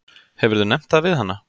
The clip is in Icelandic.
Hefurðu nefnt það við hana?